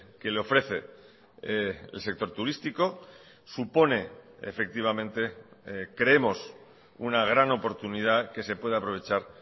que le ofrece el sector turístico supone efectivamente creemos una gran oportunidad que se puede aprovechar